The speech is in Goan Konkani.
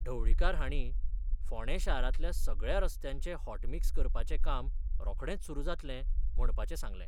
ढवळीकार हांणी फोंडे शारातल्या सगळया रस्त्यांचे हॉटमिक्स करपाचे काम रोखडेच सुरू जातले म्हणपाचे सांगले.